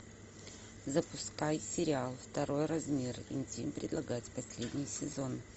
запускай сериал второй размер интим предлагать последний сезон